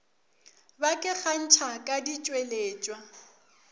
ba ke kgantšha ka ditšweletšwa